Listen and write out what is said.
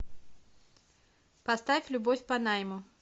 поставь любовь по найму